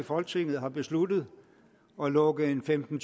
i folketinget har besluttet at lukke femten